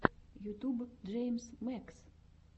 ютьюб джеймс мэкс